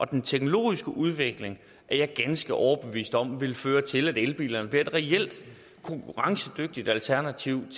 den teknologiske udvikling er jeg ganske overbevist om vil føre til at elbilerne bliver et reelt konkurrencedygtigt alternativ